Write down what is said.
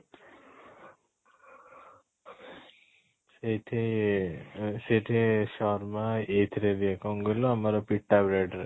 ସେଠି ସେଠି ଶର୍ମା ଏଇଥିରେ ଦିଏ କ'ଣ କହିଲୁ ଆମର ପିଟା bread ରେ